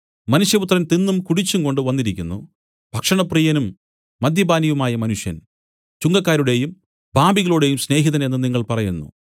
മനുഷ്യപുത്രൻ തിന്നും കുടിച്ചുംകൊണ്ടു വന്നിരിക്കുന്നു ഭക്ഷണപ്രിയനും മദ്യപാനിയുമായ മനുഷ്യൻ ചുങ്കക്കാരുടെയും പാപികളുടെയും സ്നേഹിതൻ എന്നു നിങ്ങൾ പറയുന്നു